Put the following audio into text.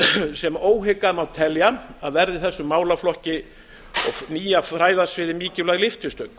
sem óhikað má telja að verði þessum málaflokki og hinu nýja fræðasviði mikilvæg lyftistöng